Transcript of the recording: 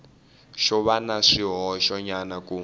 xo va na swihoxonyana ku